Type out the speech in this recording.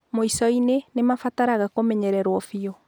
Mwico-inĩ, nĩ mabataraga kũmenyererũo biũ.